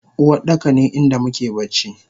Uwardaka ne inda muke bacci